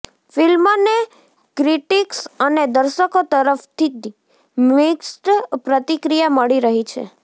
ફિલ્મને ક્રિટિક્સ અને દર્શકો તરફતી મિક્સ્ડ પ્રતિક્રિયા મળી રહી છે